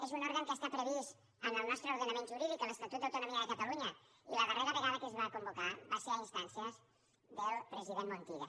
és un òrgan que està previst en el nostre ordenament jurídic a l’estatut d’autonomia de catalunya i la darrera vegada que es va convocar va ser a instàncies del president montilla